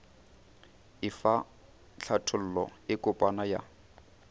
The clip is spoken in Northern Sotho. efa hlathollo e kopana ya